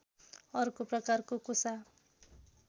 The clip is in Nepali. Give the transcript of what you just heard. अर्को प्रकारको कोसा